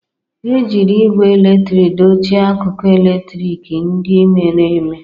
Ejiri igwe eletrik dochie akụkụ eletrik ndị mere eme.